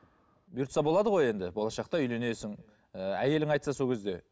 бұйыртса болады ғой енді болашақта үйленесің ыыы әйелің айтса сол кезде